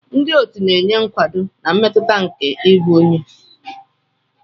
Ndị otu na-enye nkwado na mmetụta nke ịbụ onye.